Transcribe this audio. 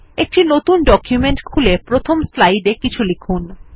একটি নতুন ডকুমেন্ট খুলে প্রথম স্লাইড এ কিছু লিখুন